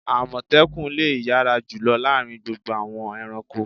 Àmọ̀tẹ́kùn lo yára jùlọ láàárín gbogbo àwọn ẹranko.